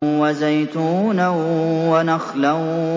وَزَيْتُونًا وَنَخْلًا